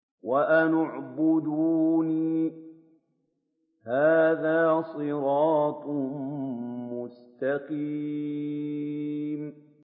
وَأَنِ اعْبُدُونِي ۚ هَٰذَا صِرَاطٌ مُّسْتَقِيمٌ